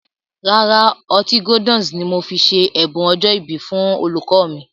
Rárá, Ọtí Gordon's ni mo fi ṣe ẹ̀bùn ọjọ́ ìbí fún olùkọ́ mi